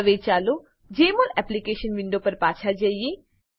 હવે ચાલો Jmol application window પર પાછા જઈએ